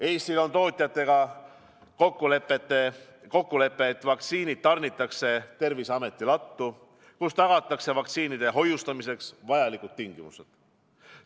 Eestil on tootjatega kokkulepe, et vaktsiinid tarnitakse Terviseameti lattu, kus tagatakse vaktsiinide hoiustamiseks vajalikud tingimused.